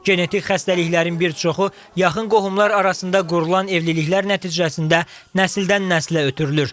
Genetik xəstəliklərin bir çoxu yaxın qohumlar arasında qurulan evliliklər nəticəsində nəsildən nəslə ötürülür.